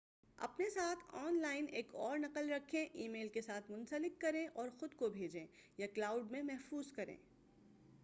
اپنے ساتھ online ایک اور نقل رکھیں۔ ای میل کے ساتھ منسلک کریں اور خود کو بھیجیں، یا کلاؤڈ میں محفوظ کریں۔